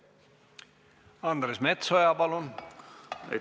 Andres Metsoja, palun!